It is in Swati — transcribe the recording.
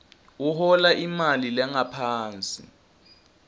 uhola imali lengaphansi